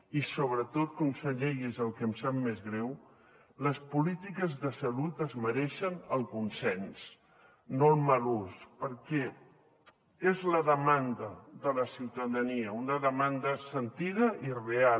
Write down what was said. i sobretot conseller i és el que em sap més greu les polítiques de salut es mereixen el consens no el mal ús perquè és la demanda de la ciutadania una demanda sentida i real